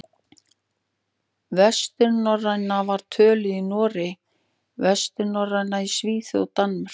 Vesturnorræna var töluð í Noregi, austurnorræna í Svíþjóð og Danmörku.